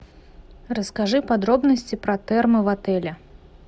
расскажи подробности про термо в отеле